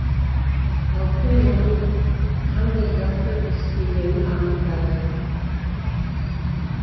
алдымен оның қандай затты иіскегенін анықтады